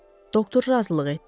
Doktor razılıq etdi.